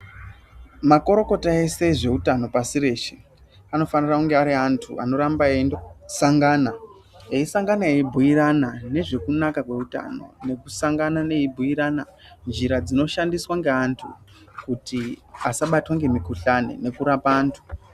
Makorokota ese ezvewutano pashi reshe, anofanire kunge ari antu anoramba eyendosangana. Eyisangana eyibuyirana nezvekunaka kwewutano. Nekusangana eyibuyirana njira dzinoshandiswa nge antu kuti asabatwe ngemikhuhlane nekurapa antu.